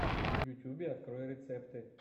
в ютьюбе открой рецепты